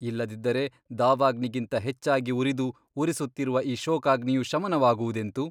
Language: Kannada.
ಇಲ್ಲದಿದ್ದರೆ ದಾವಾಗ್ನಿಗಿಂತ ಹೆಚ್ಚಾಗಿ ಉರಿದು ಉರಿಸುತ್ತಿರುವ ಈ ಶೋಕಾಗ್ನಿಯು ಶಮನವಾಗುವುದೆಂತು?